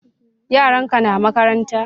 Yaran ka na makaranta